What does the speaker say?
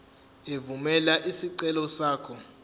evumela isicelo sakho